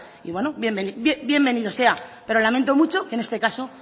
y bueno bienvenido sea pero lamento mucho que en este caso